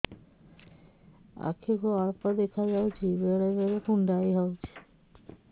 ଆଖି କୁ ଅଳ୍ପ ଦେଖା ଯାଉଛି ବେଳେ ବେଳେ କୁଣ୍ଡାଇ ହଉଛି